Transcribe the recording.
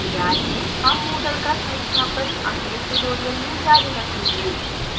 हम moodle का संस्थापन अगले tutorial में जारी रखेंगे